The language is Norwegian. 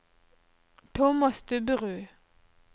Tomas Stubberud